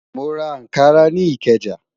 Mo ra Ànkarà ni Ikeja.